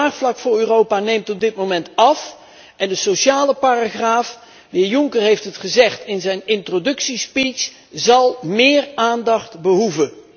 Het draagvlak voor Europa neemt op dit moment af en de sociale paragraaf de heer Juncker heeft het gezegd in zijn introductiespeech zal meer aandacht behoeven.